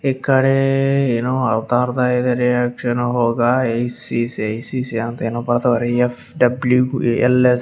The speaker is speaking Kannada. ಈ ಕಡೇ ಏನೋ ಅರ್ಧ ಅರ್ಧ ಇದೆ ಎಸ್‌.ಸಿ ಐ.ಸಿ.ಸಿ ಏನೋ ಬರ್ದವ್ರೆ ಎಫ್.ಡಬ್ಲ್ಯೂ.ಎಲ್.ಎಸ್ --